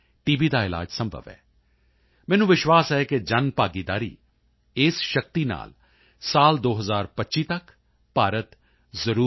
ਦਾ ਇਲਾਜ ਸੰਭਵ ਹੈ ਮੈਨੂੰ ਵਿਸ਼ਵਾਸ ਹੈ ਕਿ ਜਨਭਾਗੀਦਾਰੀ ਇਸ ਸ਼ਕਤੀ ਨਾਲ ਸਾਲ 2025 ਤੱਕ ਭਾਰਤ ਜ਼ਰੂਰ ਟੀ